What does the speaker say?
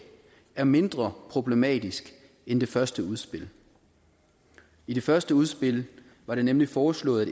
er mindre problematisk end det første udspil i det første udspil var det nemlig foreslået